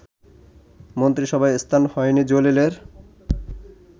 মন্ত্রিসভায় স্থান হয়নি জলিলের